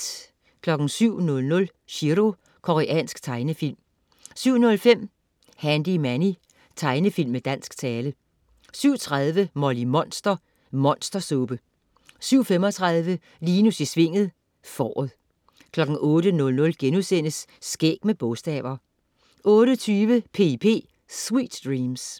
07.00 Chiro. Koreansk tegnefilm 07.05 Handy Manny. Tegnefilm med dansk tale 07.30 Molly Monster. Monstersuppe 07.35 Linus i Svinget. Fåret 08.00 Skæg med bogstaver* 08.20 P.I.P. Sweet dreams